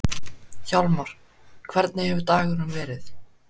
Hjálmar, hvernig hefur dagurinn verið?